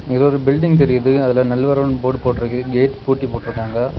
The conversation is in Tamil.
இது ஒரு பில்டிங் தெரியுது அதுல நல்வரவுன்னு போர்டு போட்டுருக்கு கேட் பூட்டி போட்டுருக்காங்க.